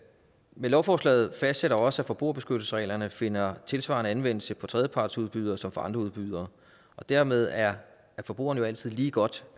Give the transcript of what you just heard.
men lovforslaget fastsætter også at forbrugerbeskyttelsesreglerne finder tilsvarende anvendelse for tredjepartsudbydere som for andre udbydere dermed er forbrugerne altid lige godt